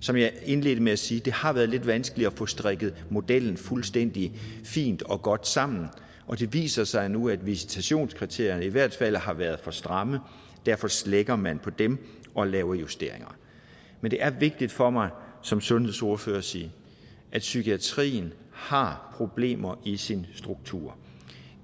som jeg indledte med at sige har det været lidt vanskeligt at få strikket modellen fuldstændig fint og godt sammen og det viser sig nu at visitationskriterierne i hvert fald har været for stramme derfor slækker man på dem og laver justeringer men det er vigtigt for mig som sundhedsordfører at sige at psykiatrien har problemer i sin struktur